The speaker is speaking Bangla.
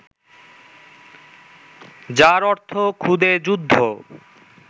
যার অর্থ খুদে যুদ্ধ